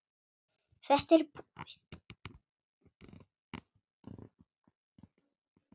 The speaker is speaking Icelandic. Þetta er búið.